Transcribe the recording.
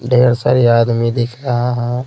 ढेर सारी आदमी दिख रहा है।